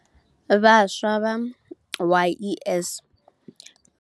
Vhaswa vha YES.